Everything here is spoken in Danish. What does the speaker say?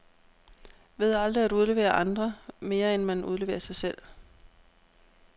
Ved aldrig at udlevere andre, mere end man udleverer sig selv.